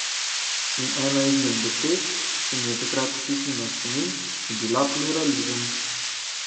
In ena izmed besed, ki se mi je takrat vtisnila v spomin, je bila pluralizem.